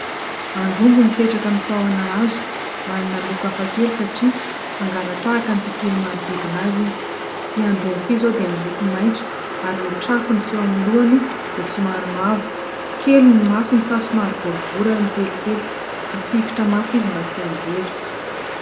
Androngo mipetraka amin'ny tahona hazo. Manana loko hafakely satria mangala-tahaka ny tontolo manodidina azy izy. Ity androngo ity izao dia miloko maitso, ary ny trafony sy eo amin'ny lohany dia somary mavo. Kely ny masony fa somary boribory ary mipelipelika. Mifikitra mafy izy mba tsy hianjera.